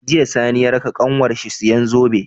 Jiya sani ya raka kanwar shi siyan zobe